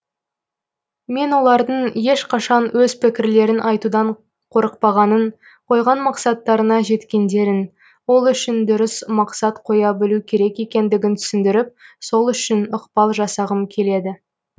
мен олардың ешқашан өз пікірлерін айтудан қорықпағанын қойған мақсаттарына жеткендерін ол үшін дұрыс мақсат қоя білу керек екендігін түсіндіріп сол үшін ықпал жасағым келеді